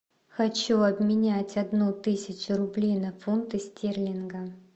хочу обменять одну тысячу рублей на фунты стерлинга